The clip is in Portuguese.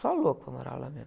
Só louco para morar lá mesmo.